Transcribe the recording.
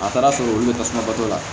A taara sɔrɔ olu bɛ tasuma bɔ la